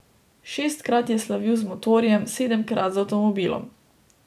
Šestkrat je slavil z motorjem, sedemkrat z avtomobilom.